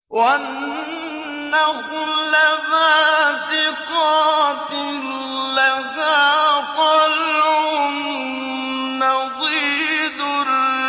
وَالنَّخْلَ بَاسِقَاتٍ لَّهَا طَلْعٌ نَّضِيدٌ